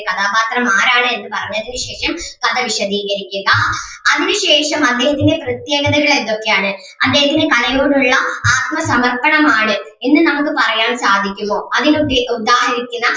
കഥാപാത്രം ആരാണ് എന്ന് പറഞ്ഞതിന് ശേഷം കഥ വിശദീകരിക്കുക അതിനു ശേഷം അദ്ദേഹത്തിന്റെ പ്രത്യേകതകൾ എന്തൊക്കെയാണ് അദ്ദേഹത്തിന്റെ കലയോടുള്ള ആത്മസമർപ്പണം ആണ് എന്ന് നമുക്ക് പറയാൻ സാധിക്കുമോ അതിനു ഉദ്ധീ ഉദാഹരിക്കുന്ന